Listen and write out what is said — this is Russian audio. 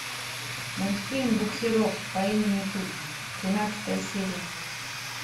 мультфильм буксирок по имени тут тринадцатая серия